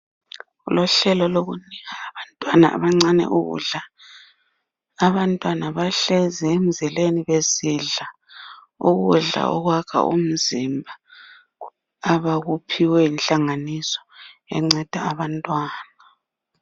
Luhlelo lokunika abantwana abancane ukudla abantwana bahlezi emzileni besidla ukudla okwakha umzimba abakuphiwe yinhlanganiso enceda abantwana.